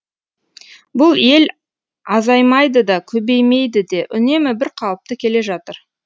бұл ел азаймайды да көбеймейді де үнемі бір қалыпты келе жатыр